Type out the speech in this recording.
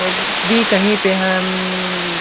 कही पे हम --